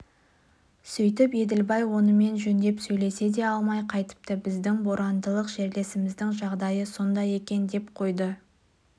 сөйтіп еділбай онымен жөндеп сөйлесе де алмай қайтыпты біздің борандылық жерлесіміздің жағдайы сондай екен деп қойды